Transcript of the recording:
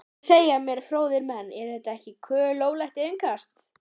Hvað segja mér fróðir menn, er þetta ekki kolólöglegt innkast?